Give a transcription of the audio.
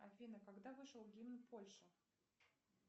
афина когда вышел гимн польши